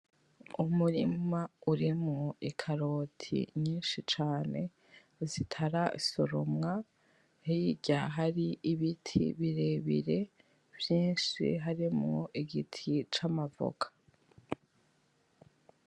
Umurima urimwo ikaroti nyinshi cane zitarasoromwa hirya hari ibiti birebire vyinshi harimwo igiti c'amavoka